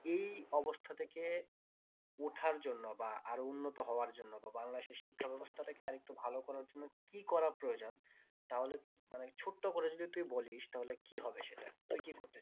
এই অবস্থা থেকে উঠার জন্য বা আর উন্নত হওয়ার জন্য বা বাংলাদেশের শিক্ষা ব্যবস্থা কে আরেকটু ভালো করার জন্য কি করা প্রয়োজন তাহলে মানে ছোট্ট করে যদি তুই বলিস তাহলে কি হবে সেটা তুই কি করতে